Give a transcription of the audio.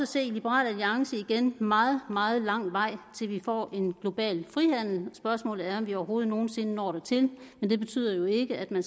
se i liberal alliance igen meget meget lang vej til vi får en global frihandel spørgsmålet er om vi overhovedet nogen sinde når dertil men det betyder jo ikke at man